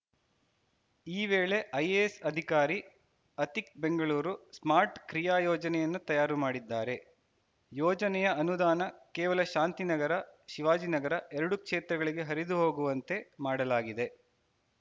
ಈ ವೇಳೆ ಐಎಎಸ್‌ ಅಧಿಕಾರಿ ಅತಿಕ್‌ ಬೆಂಗಳೂರು ಸ್ಮಾರ್ಟ್‌ ಕ್ರಿಯಾಯೋಜನೆಯನ್ನು ತಯಾರು ಮಾಡಿದ್ದಾರೆ ಯೋಜನೆಯ ಅನುದಾನ ಕೇವಲ ಶಾಂತಿನಗರ ಶಿವಾಜಿನಗರ ಎರಡು ಕ್ಷೇತ್ರಗಳಿಗೆ ಹರಿದುಹೋಗುವಂತೆ ಮಾಡಲಾಗಿದೆ